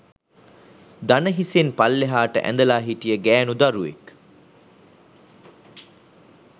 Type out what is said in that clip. දණහිසෙන් පල්ලෙහාට ඇඳලා හිටිය ගෑණු දරුවෙක්